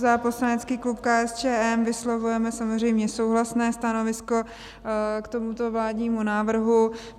Za poslanecký klub KSČM vyslovujeme samozřejmě souhlasné stanovisko k tomuto vládnímu návrhu.